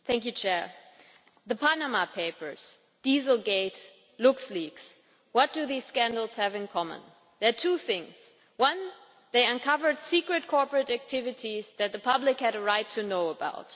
Madam President, the Panama Papers, Dieselgate, LuxLeaks what do these scandals have in common? There are two things 1. they uncovered secret corporate activities that the public had a right to know about